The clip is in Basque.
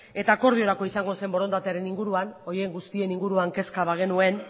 eta akordiorako izango zen borondatearen inguruan horien guztien inguruan kezka bagenuen